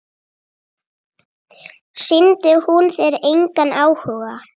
Sýndi hún þér engan áhuga?